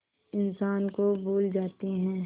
इंसान को भूल जाते हैं